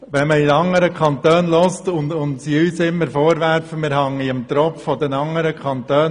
Wenn wir anderen Kantonen zuhören, ertönt der Vorwurf, wir hingen mit dem Finanzausgleich am Tropf der anderen Kantone.